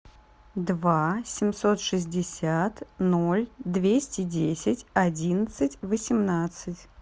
два семьсот шестьдесят ноль двести десять одиннадцать восемнадцать